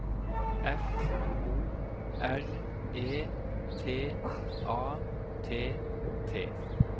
F O R E T A T T